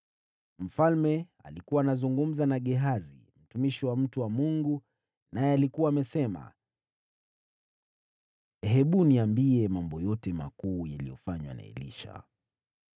Mfalme alikuwa anazungumza na Gehazi, mtumishi wa mtu wa Mungu, naye alikuwa amesema, “Hebu niambie mambo yote makuu yaliyofanywa na Elisha.”